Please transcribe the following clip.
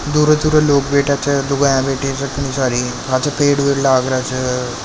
दूर दूर लोग बैठ्या छे लुगाया बैठी पाछे पेड़ वेड लाग राख्यो है।